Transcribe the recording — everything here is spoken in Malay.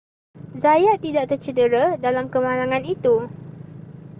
zayat tidak tercedera dalam kemalangan itu